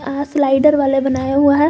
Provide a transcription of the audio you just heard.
अहा स्लाइडर वाले बनाया हुआ है।